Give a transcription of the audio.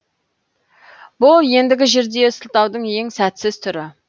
бұл ендігі жерде сылтаудың ең сәтсіз түрі